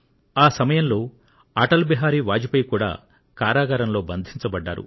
ఆ సమయంలో శ్రీ అటల్ బిహారి వాజ్ పేయి కూడా కారాగారంలో బంధించబడ్డారు